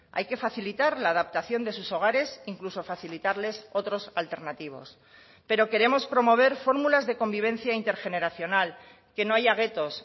hay que facilitar la adaptación de sus hogares incluso facilitarles otros alternativos pero queremos promover fórmulas de convivencia intergeneracional que no haya guetos